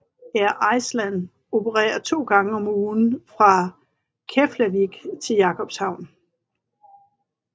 Air Iceland opererer to gange om ugen fra Keflavík til Jakobshavn